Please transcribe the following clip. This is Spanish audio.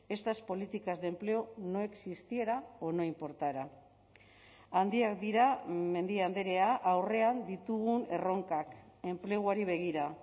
estas políticas de empleo no existiera o no importara handiak dira mendia andrea aurrean ditugun erronkak enpleguari begira